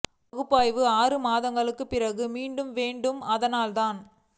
பகுப்பாய்வு ஆறு மாதங்களுக்கு பிறகு மீண்டும் வேண்டும் அதனால் தான்